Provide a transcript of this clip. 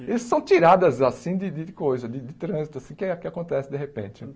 Eles são tiradas, assim, de de coisa, de de trânsito, que a que acontece de repente.